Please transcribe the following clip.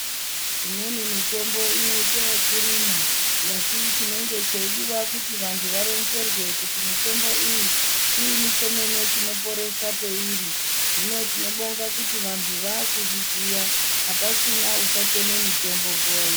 Imweni mitombo inoite yekurimwa. Asi chinenge cheidiwa kuti vantu varonzerwe kuti mitombo iyi chii chemene chinoporesa peiri. Hino tinobonga kuti vantu vaakuzviziya, hapachina uchateme mitombo nguwa ino.